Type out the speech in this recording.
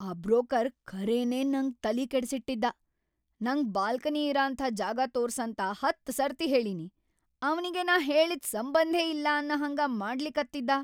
ಆ ಬ್ರೋಕರ್‌ ಖರೇನೇ ನಂಗ್‌ ತಲಿ ಕೆಡಸಿಟ್ಟಿದ್ದಾ. ನಂಗ ಬಾಲ್ಕನಿ ಇರಅಂಥಾ ಜಾಗಾ ತೋರ್ಸಂತ ಹತ್‌ ಸರ್ತಿ ಹೇಳಿನಿ. ಅವ್ನಿಗಿ ನಾ ಹೇಳಿದ್ದ್‌ ಸಂಬಂಧೇ ಇಲ್ಲ ಅನ್ನಹಂಗ ಮಾಡ್ಲಿಕತ್ತಿದ್ದಾ.